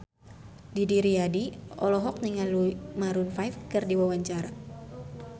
Didi Riyadi olohok ningali Maroon 5 keur diwawancara